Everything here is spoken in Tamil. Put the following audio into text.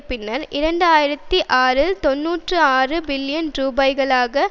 பின்னர் இரண்டு ஆயிரத்தி ஆறில் தொன்னூற்றி ஆறு பில்லியன் ரூபாய்களாக